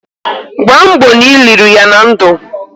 Gbamgbo na i liri ya na ndu!